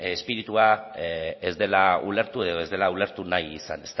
espiritua ez dela ulertu edo ez dela ulertu nahi izan